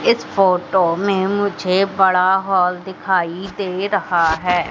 इस फोटो में मुझे बड़ा हॉल दिखाई दे रहा है।